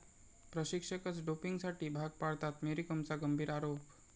प्रशिक्षकच डोपिंगसाठी भाग पाडतात, मेरी कोमचा गंभीर आरोप